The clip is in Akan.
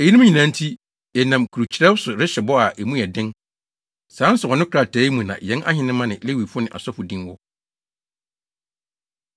“Eyinom nyinaa nti, yɛnam kurukyerɛw so rehyɛ bɔ a emu yɛ den. Saa nsɔwano krataa yi mu na yɛn ahenemma ne Lewifo ne asɔfo din wɔ.”